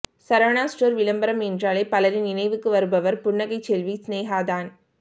Saravana stores விளம்பரம் என்றாலே பலரின் நினைவுக்கு வருபவர் புன்னகை செல்வி சினேகா தான்